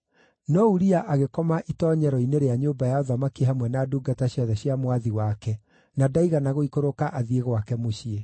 No Uria agĩkoma itoonyero-inĩ rĩa nyũmba ya ũthamaki hamwe na ndungata ciothe cia mwathi wake, na ndaigana gũikũrũka athiĩ gwake mũciĩ.